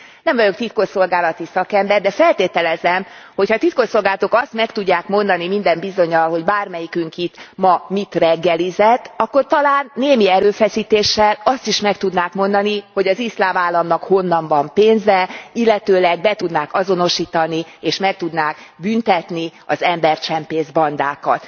Nem vagyok titkosszolgálati szakember, de feltételezem, ha a titkosszolgálatok azt meg tudják mondani minden bizonnyal, hogy bármelyikünk itt ma mit reggelizett, akkor talán némi erőfeszítéssel azt is meg tudnák mondani, hogy az Iszlám Államnak honnan van pénze, illetőleg be tudnák azonosítani és meg tudnák büntetni az embercsempészbandákat.